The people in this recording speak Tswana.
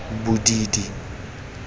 bodidi